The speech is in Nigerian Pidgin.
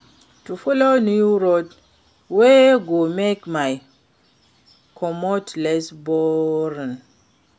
To follow new road wey go make my commute less boring.